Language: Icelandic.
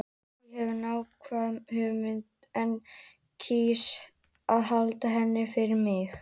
Ég hef nákvæma hugmynd en kýs að halda henni fyrir mig.